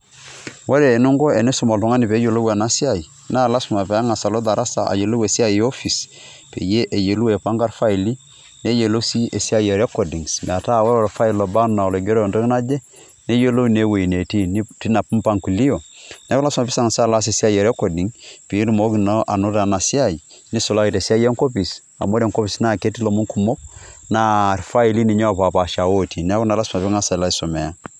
Ore ening'o enisum oltung'ani peeyolou ena siai naa lazima peng'asa alo darasa ayolou esiai e office peyie eyolou aipang'a irfaili, neyolou sii esia e recordings, metaa ore orfile olaba naa olaigero entoki naje neyolo naa ewueji natii tina mpangilio. Neeku lazima ping'as alo aas esiai e recording piitumoki anoto ena siai, nisulaki tesiai enkopis amu ore enkopis keti ilomon kumok naa irfaili opaapaasha lotii. Neeku naa lazima piilo aisomea.